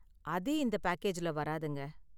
அது இந்த பேக்கேஜ்ல வராதுங்க.